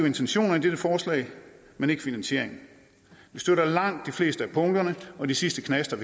intentionerne i dette forslag men ikke finansieringen vi støtter langt de fleste af punkterne og de sidste knaster